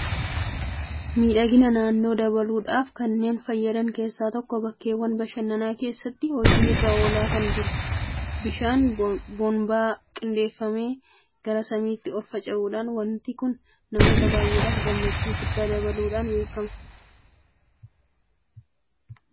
Miidhagina naannoo dabaluudhaaf kanneen fayyadan keessaa tokko bakkeewwan bashannanaa keessattis hojii irra oolaa kan jiru. Bishaan boonbaa qindeeffamee gara samiitti ol fincaa'udha. Waanti kun namoota baay'eedhaaf gammachuu guddaa dabaluudhaan beekama .Dhiibbaan inni qabummoo maalidha?